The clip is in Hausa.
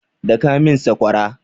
Daka min sakwara!